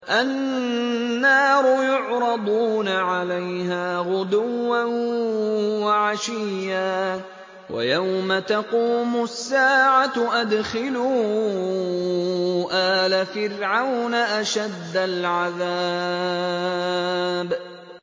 النَّارُ يُعْرَضُونَ عَلَيْهَا غُدُوًّا وَعَشِيًّا ۖ وَيَوْمَ تَقُومُ السَّاعَةُ أَدْخِلُوا آلَ فِرْعَوْنَ أَشَدَّ الْعَذَابِ